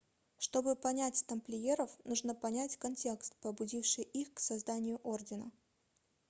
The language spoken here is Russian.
чтобы понять тамплиеров нужно понять контекст побудивший их к созданию ордена